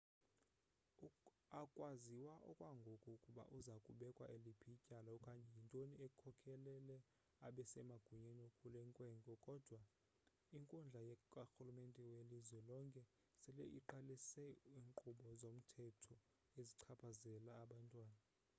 akwaziwa okwangoku ukuba uza kubekwa liphi ityala okanye yintoni ekhokhelele abasemagunyeni kule nkwenkwe kodwa inkundla karhulumente welizwe lonke sele iqalise iinkqubo zomthetho ezichaphazela abantwana